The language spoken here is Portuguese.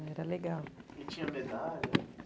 E tinha medalha?